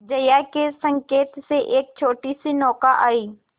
जया के संकेत से एक छोटीसी नौका आई